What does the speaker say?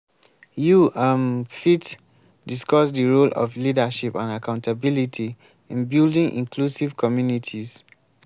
you um fit discuss di role of leadership and accountability in building inclusive communities.